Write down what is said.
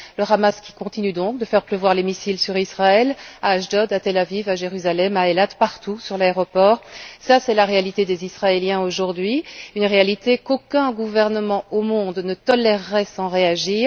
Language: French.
Le Hamas continue donc de faire pleuvoir les missiles sur Israël, à Ashdod, à Tel Aviv, à Jérusalem, à Eilat, sur l'aéroport, partout. C'est la réalité des Israéliens aujourd'hui, une réalité qu'aucun gouvernement au monde ne tolérerait sans réagir.